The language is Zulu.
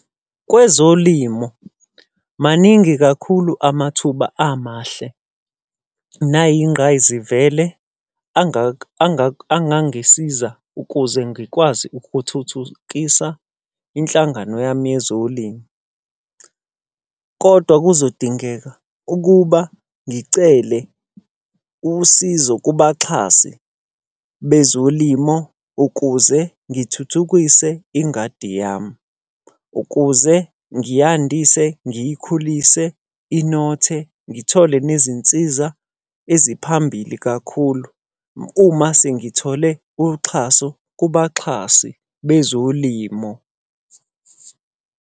Kwezolimo, maningi kakhulu amathuba amahle nayingqayizivele angangisiza ukuze ngikwazi ukuthuthukisa inhlangano yami yezolimo. Kodwa kuzodingeka ukuba ngicele usizo kubaxhasi bezolimo, ukuze ngithuthukise ingadi yami. Ukuze ngiyandise, ngiyikhulise, inothe. Ngithole nezinsiza eziphambili kakhulu uma sengithole uxhaso kubaxhasi bezolimo.